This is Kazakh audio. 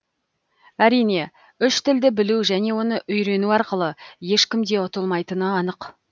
әрине үш тілді білу және оны үййрену арқылы ешкімде ұтылмайтыны анық